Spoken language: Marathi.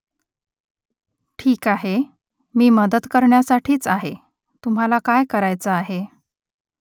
ठीक आहे . मी मदत करण्यासाठीच आहे . तुम्हाला काय करायचं आहे ?